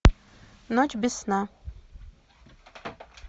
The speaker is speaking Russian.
ночь без сна